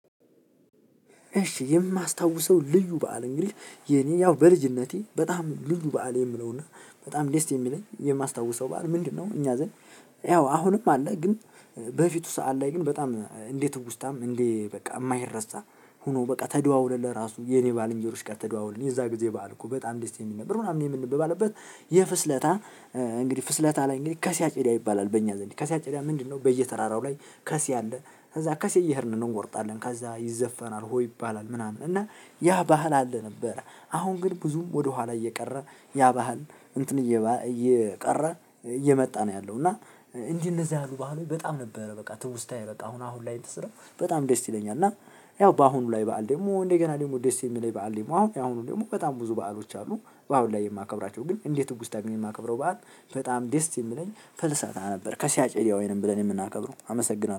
እሺ የማስታውሰው ልዩ በዓል እንግዲህ የኔ ያው በልጅነቴ በጣም ልዩ በዓል የምለው እና በጣም ደስ የሚለኝ የማስታውሰው በዓል ምንድነው? እኛ ዘንድ ያው አሁንም አለ። ግን በፊቱ ሰዓት ላይ ግን በጣም እንደ ትውስታም እንደ በቃ የማይረሳ ሆኖ በቃ ተደዋውለን ለራሱ የኔ ባልንጀሮች ጋር ተደዋውለን የዛን ጊዜ በዓል እኮ በጣም ደስ የሚል ነበር። ምናምን የምንበባበት የፍስለታ እንግዲህ ፍስለታ ላይ እንግዲህ ከሴ አጨዳ ይባላል። በእኛ ዘንድ ከሴ አጨዳ ምንድነው? በየተራራው ላይ ከሴ አለ። ከዛ ከሴ እየሄድን ነው እንቆርጣለን ከዛ ይዘፈናል ሆ ይባላል። ምናምን እና ያ ባህል አለ ነበር። አሁን ግን ብዙም ወደኋላ እየቀረ ያ ባህል እንትን እየቀረ እየመጣ ነው ያለው። እና እንደዚህ ያሉ ባህሎች በጣም ነበረ በቃ ትውስታዬ በቃ አሁን ላይ እንትን ስለው በጣም ደስ ይለኛል። እና ያው በአሁኑ ላይ በዓል ደግሞ እንደ ገና ደግሞ ደስ የሚለኝ በዓል ደግሞ አሁን ያሁኑን ደግሞ በጣም ብዙ በዓሎች አሉ። አሁን ላይ የማከብራቸው ግን እንደ ትውስታ የማከብረው በዓል በጣም ደስ የሚለኝ ፍልሰታ ነበር። ከሴ አጨዳ ወይንም ብለን የምናከብረው አመሰግናለሁ